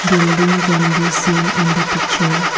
building can be seen in the picture.